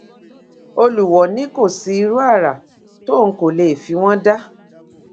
olùwọọ ní kò sí irú àrà tóun kò lè fi wọn dá